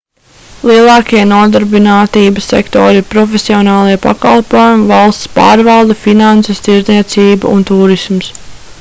lielākie nodarbinātības sektori ir profesionālie pakalpojumi valsts pārvalde finanses tirdzniecība un tūrisms